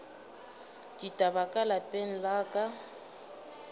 ditaba ka lapeng la ka